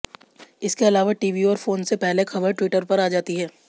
इसके अलावा टीवी और फोन से पहले खबर ट्विटर पर आ जाती है